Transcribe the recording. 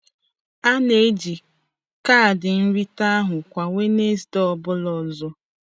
A na-eji kaadị nrite ahụ kwa Wenezde ọ bụla ọzọ.